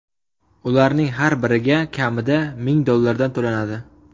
Ularning har biriga kamida ming dollardan to‘lanadi.